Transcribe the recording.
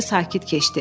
Gecə sakit keçdi.